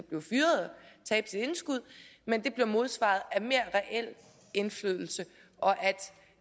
tabe sit indskud bliver modsvaret af mere reel indflydelse og